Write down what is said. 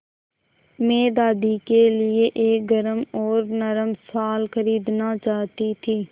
मैं दादी के लिए एक गरम और नरम शाल खरीदना चाहती थी